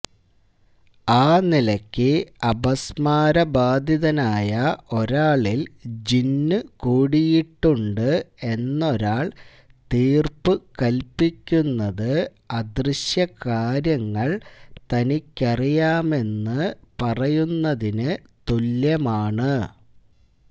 ആ നിലക്ക് അപസ്മാരബാധിതനായ ഒരാളില് ജിന്നുകൂടിയിട്ടുണ്ട് എന്നൊരാള് തീര്പ്പു കല്പിക്കുന്നത് അദൃശ്യകാര്യങ്ങള് തനിക്കറിയാമെന്ന് പറയുന്നതിന് തുല്യമാണ്